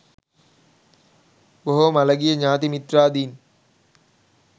බොහෝ මළගිය ඥාති මිත්‍රාදීන්